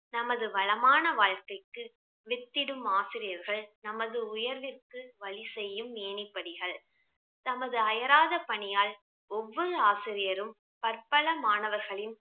நமது வளமான வாழ்க்கைக்கு வித்திடும் ஆசிரியர்கள் நமது உயர்விற்கு வழி செய்யும் ஏணிப்படிகள் தமது அயராத பணியால் ஒவ்வொரு ஆசிரியரும் பற்பல மாணவர்களின்